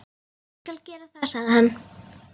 Ég skal gera það, sagði hann.